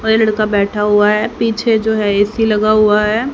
वह लड़का बैठा हुआ है पीछे जो है ऐ_सी लगा हुआ है।